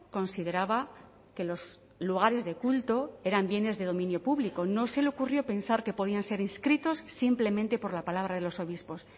consideraba que los lugares de culto eran bienes de dominio público no se le ocurrió pensar que podían ser inscritos simplemente por la palabra de los obispos